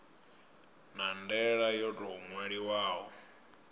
na ndaela yo tou ṅwaliwaho